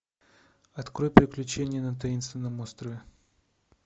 открой приключения на таинственном острове